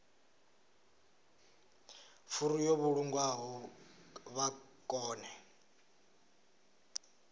furu yo vhulungwaho vha kone